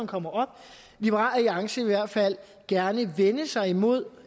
kommer herop liberal alliance vil i hvert fald gerne vende sig mod